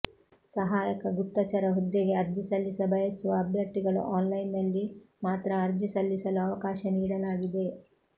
ಸಹಾಯಕ ಗುಪ್ತಚರ ಹುದ್ದೆಗೆ ಅರ್ಜಿ ಸಲ್ಲಿಸ ಬಯಸುವ ಅಭ್ಯರ್ಥಿಗಳು ಆನ್ಲೈನಿನಲ್ಲಿ ಮಾತ್ರ ಅರ್ಜಿ ಸಲ್ಲಿಸಲು ಅವಕಾಶ ನೀಡಲಾಗಿದೆ